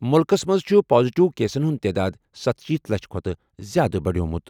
مُلکَس منٛز چھِ پازیٹیو کیسَن ہُنٛد تعداد ستَشیٖتھ لَچھ کھۄتہٕ زِیٛادٕ بَڑیمُت۔